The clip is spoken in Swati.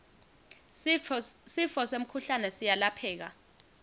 sifo semkhuhlane siyalapheka